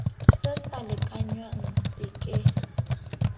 se sa lekanngwang se ke